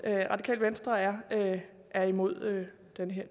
radikale venstre er er imod